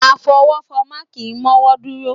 Afọwọ́fọmá kì í mọ́wọ́ dúró.